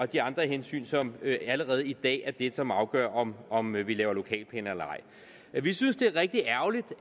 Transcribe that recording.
de andre hensyn som allerede i dag er det som afgør om om vi laver lokalplaner eller ej vi synes det er rigtig ærgerligt